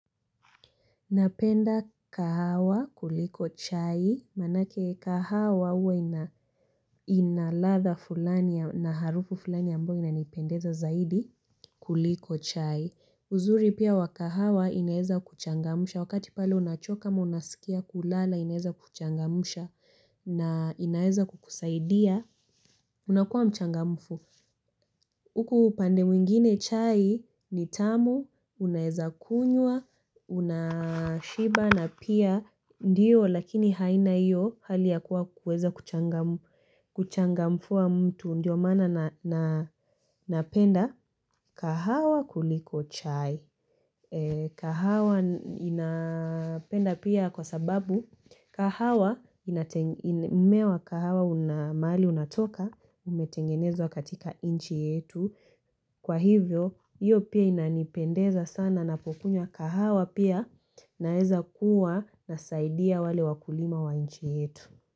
Napenda kahawa kuliko chai. Manake kahawa huwa ina latha fulani na harufu fulani ambayo ina nipendeza zaidi kuliko chai. Uzuri pia wakahawa ina weza kuchangamsha. Wakati pale unachoka ama unaskia kulala ina weza kuchangamsha. Na ina weza kukusaidia. Unakuwa mchangamfu. Huku upande mwingine chai ni tamu unaweza kunywa, unashiba na pia. Ndiyo lakini haina iyo hali ya kuwa kuweza uchangamfu wa mtu. Ndio maana na napenda kahawa kuliko chai. Kahawa nina penda kwa sababu. Kahawa ina mmea wa kahawa una mahali unatoka. Umetengenezwa katika inchi yetu. Kwa hivyo iyo pia ina nipendeza sana napokunywa kahawa pia. Naeza kuwa nasaidia wale wakulima wa inchi yetu.